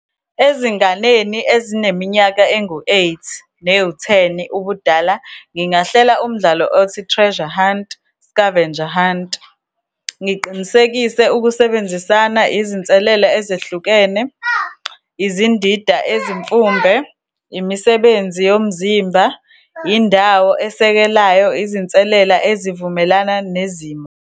Ezinganeni ezineminyaka engu-eight, newu-ten ubudala, ngingahlela umdlalo othi treasure hunt, scavenger hunt. Ngiqinisekise ukusebenzisana, izinselela ezehlukene, izindida ezimfumbe, imisebenzi yomzimba, indawo esekelayo, izinselela ezivumelana nezimo.